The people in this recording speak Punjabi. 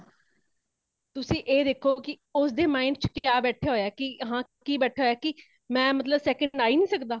ਤੁਸੀਂ ਇਹ ਦੇਖੋ ਕੀ ਉਸਦੇ mind ਚ ਕਯਾ ਬੈਠਾ ਹੋਈਆਂ, ਹੇ ਕੀ ,ਕੀ ਬੈਠਾ ਹੋਈਆਂ ਕੀ ਮੈ ਮਤਲਬ second ਆਹੀ ਨਹੀਂ ਸੱਕਦਾ